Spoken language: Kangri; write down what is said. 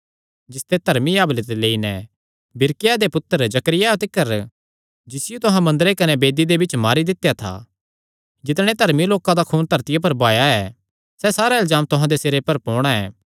जिसते धर्मी हाबिले ते लेई नैं बिरिक्याह दे पुत्तर जकरियाह तिकर जिसियो तुहां मंदरे कने वेदी दे बिच्च मारी दित्या था जितणे धर्मी लोकां दा खून धरतिया पर बहाया ऐ सैह़ सारा इल्जाम तुहां दे सिरे पर पोणा ऐ